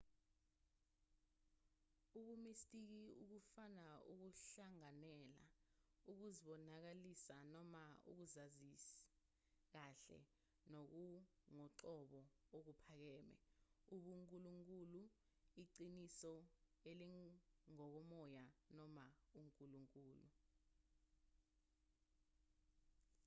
ubumistiki ukufuna ukuhlanganyela ukuzibonakalisa noma ukuzazi kahle nokungokoqobo okuphakeme ubunkulunkulu iqiniso elingokomoya noma unkulunkulu